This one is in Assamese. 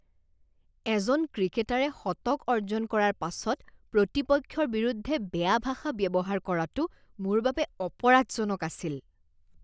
এজন ক্ৰিকেটাৰে শতক অৰ্জন কৰাৰ পাছত প্ৰতিপক্ষৰ বিৰুদ্ধে বেয়া ভাষা ব্যৱহাৰ কৰাটো মোৰ বাবে অপৰাধজনক আছিল।